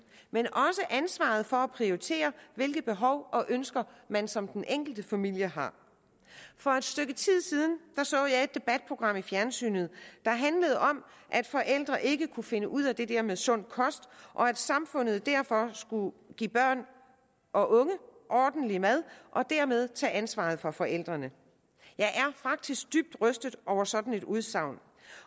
men også ansvaret for at prioritere hvilke behov og ønsker man som den enkelte familie har for et stykke tid siden så jeg et debatprogram i fjernsynet der handlede om at forældre ikke kunne finde ud af det der med sund kost og at samfundet derfor skulle give børn og unge ordentlig mad og dermed tage ansvaret fra forældrene jeg er faktisk dybt rystet over sådan et udsagn